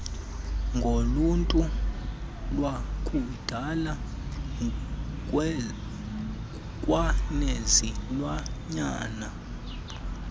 ngoluntu lwakudala kwanezilwanyana